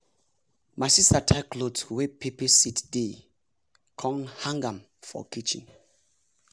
my sister tie cloth wey pepper seed dey con hang m for kitchen